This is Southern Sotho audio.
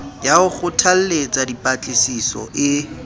ya ho kgothalletsa dipatlisiso e